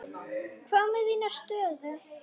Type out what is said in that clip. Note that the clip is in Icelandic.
Hvað með þína stöðu?